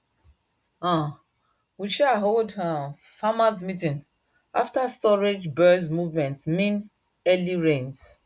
um we um hold um farmers meeting after storage bird movement mean early rains